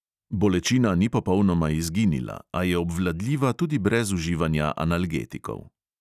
Bolečina ni popolnoma izginila, a je obvladljiva tudi brez uživanja analgetikov.